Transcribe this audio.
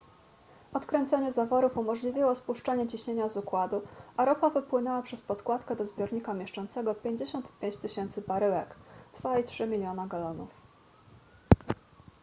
odkręcenie zaworów umożliwiło spuszczenie ciśnienia z układu a ropa wypłynęła przez podkładkę do zbiornika mieszczącego 55 000 baryłek 2,3 miliona galonów